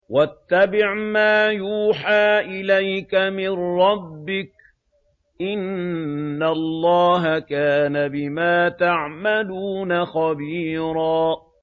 وَاتَّبِعْ مَا يُوحَىٰ إِلَيْكَ مِن رَّبِّكَ ۚ إِنَّ اللَّهَ كَانَ بِمَا تَعْمَلُونَ خَبِيرًا